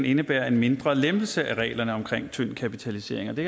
indebærer en mindre lempelse af reglerne om tynd kapitalisering og det